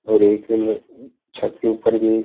और एक लोग छत के ऊपर भी--